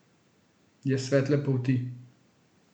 Je svetle polti.